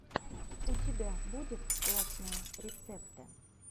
у тебя будет классные рецепты